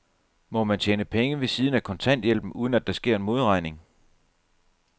Må man tjene penge ved siden af kontanthjælpen, uden at der sker en modregning?